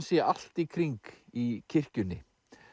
sé allt í kring í kirkjunni